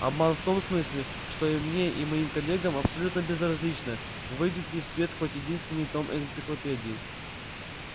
обман в том смысле что и мне и моим коллегам абсолютно безразлично выйдет ли в свет хоть единственный том энциклопедии